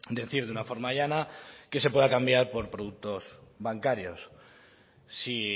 decir de una forma llana que se pueda cambiar por productos bancarios si